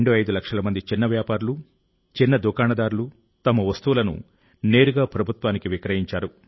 25 లక్షల మంది చిన్నవ్యాపారులు చిన్న దుకాణదారులు తమ వస్తువులను నేరుగా ప్రభుత్వానికి విక్రయించారు